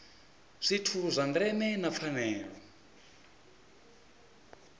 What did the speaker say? zwithu zwa ndeme na pfanelo